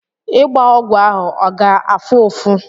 Ịgba ogwu ahụ ọ ga-afụ ụfụ?